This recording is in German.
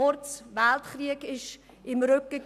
Kurz: Der Weltkrieg stand im Rücken;